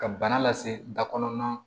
Ka bana lase da kɔnɔna na